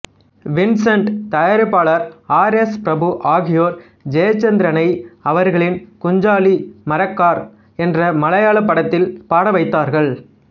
Vincent தயாரிப்பாளர் R S Prabhu ஆகியோர் ஜெயச்சந்திரனை அவர்களின் குஞ்சாலி மரக்கார் என்ற மலையாளப் படத்தில் பாட வைத்தார்கள்